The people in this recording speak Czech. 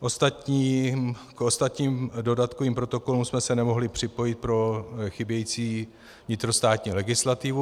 K ostatním dodatkovým protokolům jsme se nemohli připojit pro chybějící vnitrostátní legislativu.